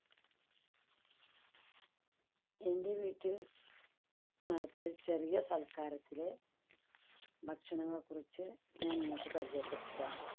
എൻ്റെ വീട്ടിൽ നടത്തിയ ഒരു ചെറിയ സൽക്കാരത്തിലെ ഭക്ഷണങ്ങളെ കുറിച്ച് ഞാൻ നിങ്ങൾക്ക് പരിചയപ്പെടുത്തിത്തരാം.